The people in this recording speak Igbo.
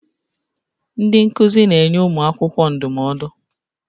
Ndị nkuzi na-enye ụmụ akwụkwọ ndụmọdụ